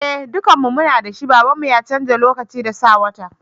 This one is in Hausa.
Eh dukan mu muna da shi, baban mu ya canza lokacin da sa wata.